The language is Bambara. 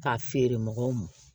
K'a feere mɔgɔw ma